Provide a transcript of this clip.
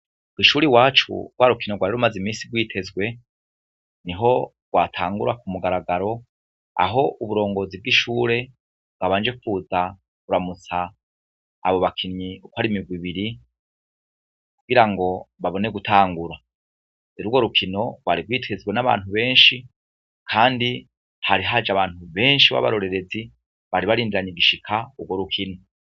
Bo ishure wacu rwa rukino rwariro umaze imisi rwitezwe ni ho rwatangura ku mugaragaro aho uburongozi bw'ishure bwabanje kuta uramutsa abo bakinyi uko ari mirwe ibiri kugira ngo babone gutangura era uwo rukino rwari rwitezwe n'abantu benshi, kandi tarihaje abantu benshi b'abarorerezi baribarindranye igishika uwor ukine.